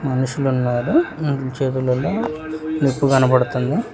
మనుషులు ఉన్నారు చేతులల్లో నిప్పు కనబడుతుంది.